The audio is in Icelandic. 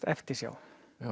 eftirsjá